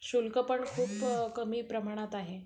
शुल्क पण खूप कमी प्रमाणात आहे.